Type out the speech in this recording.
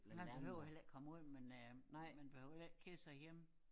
Man behøver heller ikke komme ud men øh man behøver heller ikke at kede sig hjemme